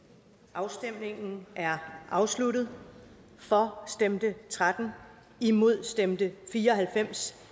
afstemningen er afsluttet for stemte tretten imod stemte fire og halvfems